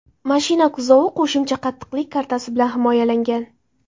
Mashina kuzovi qo‘shimcha qattiqlik kartasi bilan himoyalangan.